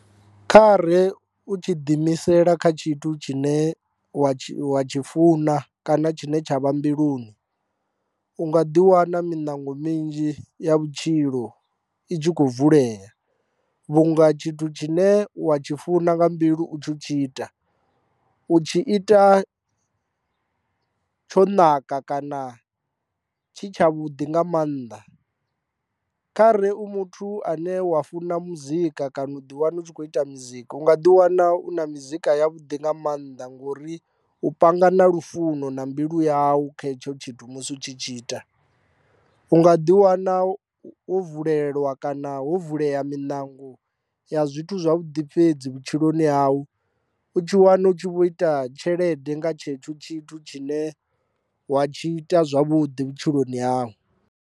Kha re u tshi ḓi imisela kha tshithu tshine wa tshi wa tshi funa kana tshine tsha vha mbiluni u nga ḓi wana miṋango minzhi ya vhutshilo i tshi khou vulea vhunga tshithu tshine wa tshi funa nga mbilu u tshi u tshi ita u tshi ita tsho naka kana tshi tsha vhuḓi nga maanḓa, khare u muthu ane wa funa muzika kana u ḓi wana u tshi kho ita muzika u nga ḓi wana u na mizika ya vhuḓi nga maanḓa ngori u panga na lufuno na mbilu yau kha hetsho tshithu musi u tshi tshi ita u nga ḓi wana ho vulelwa kana ho vulea miṋango ya zwithu zwavhuḓi fhedzi vhutshiloni hau u tshi wana u tshi vho ita tshelede nga tshetsho tshithu tshine wa tshi ita zwavhuḓi vhutshiloni hau.